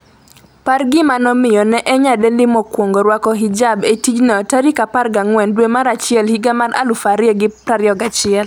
par gima nomiyo ne en nyadendi mokwongo rwako hijab e tijno14 dwe mar achiel higa mar 2021